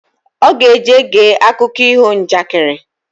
Oga eje gee akụko iho njakịrị